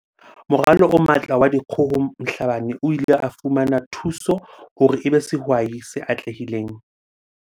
Moralo o Matla wa Dikgoho Mhlabane o ile a fumana thuso hore e be sehwai se atlehileng.